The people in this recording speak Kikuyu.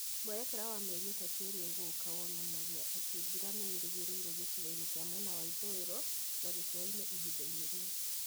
Mwerekera wa mĩeri ĩtatũ ĩrĩa ĩgũũka wonanagia atĩ mbura nĩ ĩrerĩgĩrĩrũo gĩcigo-inĩ kĩa mwena wa ithũĩro na gĩcũa-inĩ ihinda-inĩ rĩu.